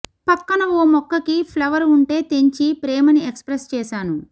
పక్కన ఓ మొక్కకి ఫ్లవర్ ఉంటే తెంచి ప్రేమని ఎక్స్ప్రెస్ చేశాను